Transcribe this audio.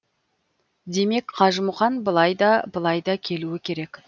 демек қажымұқан былай да былай да келуі керек